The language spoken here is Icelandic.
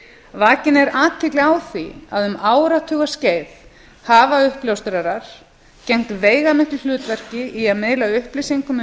vakin er athygli á því að um áratuga skeið hafa uppljóstrarar gegnt veigamiklu hlutverki í að miðla upplýsingum um